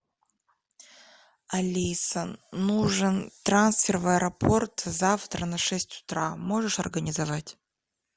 алиса нужен трансфер в аэропорт завтра на шесть утра можешь организовать